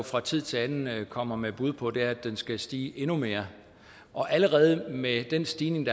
fra tid til anden kommer med bud på er at den skal stige endnu mere allerede med den stigning